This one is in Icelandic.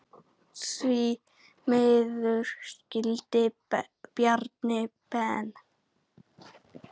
Því miður skildi Bjarni Ben.